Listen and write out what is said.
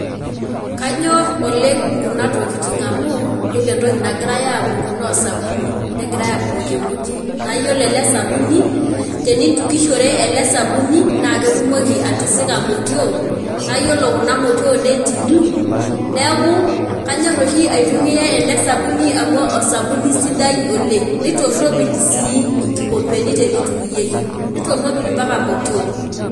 Kanyor oleng kuna tokitin amu yiolo entoki nagirae abuku noo osabuni , negirae abukoki emoti naa iyiolo ele sabuni , tenintukishore ele sabuni naa ketumoki atisika imotioo naa yiolo kuna motioo neitiilu , niaku kanyor oshi aitumia ele sabuni amu osabuni sidai oleng , nitoropil sii inkikompeni tenitukuyieki , nitoropil mpaka motiok .